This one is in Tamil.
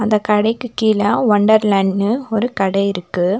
அந்த கடைக்கு கீழ ஒண்டர்லேண்ட்ன்னு ஒரு கட இருக்கு.